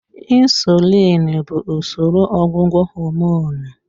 Insulin bụ usoro ọgwụgwọ homonụ.